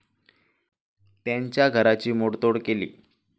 त्यांच्या घराची मोडतोड केली.